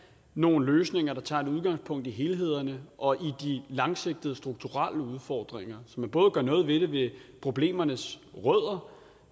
nogle løsninger der tager udgangspunkt i helheden og i de langsigtede strukturelle udfordringer så man både gør noget ved problemernes rødder